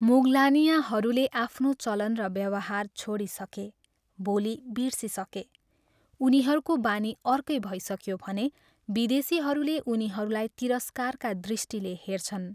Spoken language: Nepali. मुगलानियाँहरूले आफ्नो चलन र व्यवहार छोडिसके, बोली बिर्सिसके, उनीहरूको बानी अर्कै भइसक्यो भने विदेशीहरूले उनीहरूलाई तिरस्कारका दृष्टिले हेर्छन्।